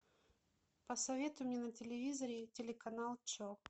посоветуй мне на телевизоре телеканал че